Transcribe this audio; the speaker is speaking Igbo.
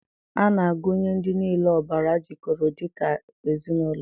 A na-agụnye ndị niile ọbara jikọrọ dị ka ezinụlọ